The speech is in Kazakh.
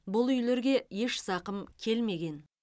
бұл үйлерге еш зақым келмеген